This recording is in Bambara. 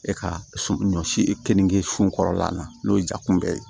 E ka so ɲɔ si e kenige su kɔrɔla na n'o ye jakunbɛ ye